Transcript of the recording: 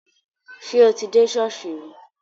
Ṣé o ti dé ṣọ́ọ̀ṣì rí?